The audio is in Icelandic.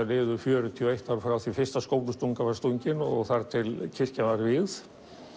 liðu fjörutíu og eitt ár frá því fyrsta skóflustungan var stungin og þar til kirkjan var vígð